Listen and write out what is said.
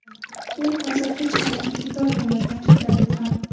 Men hozir hech qayerga ketolmayman”, ta’kidladi Tramp.